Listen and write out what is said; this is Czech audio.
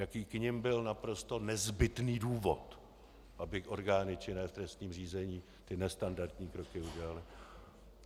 Jaký k nim byl naprosto nezbytný důvod, aby orgány činné v trestním řízení ty nestandardní kroky udělaly.